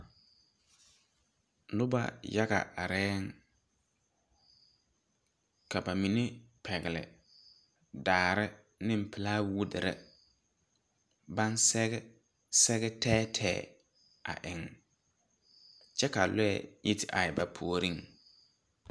Nuba yaga arẽ ka ba mene pɛgli daare ne plawuudiri ban sege sege teɛ teɛ a eng kye ka lɔɛ yi te arẽ ba poɔring.